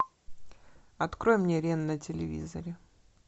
открой мне рен на телевизоре